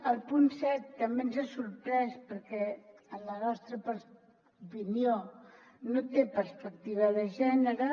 el punt set també ens ha sorprès perquè en la nostra opinió no té perspectiva de gènere